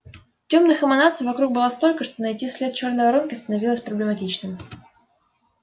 тёмных эманаций вокруг было столько что найти след чёрной воронки становилось проблематичным